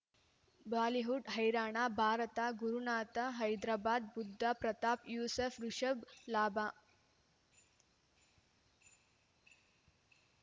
Bollywood ಹೈರಾಣ ಭಾರತ ಗುರುನಾಥ ಹೈದರಾಬಾದ್ ಬುಧ ಪ್ರತಾಪ್ ಯೂಸುಫ್ ರಿಷಬ್ ಲಾಭ